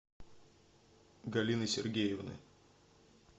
галины сергеевны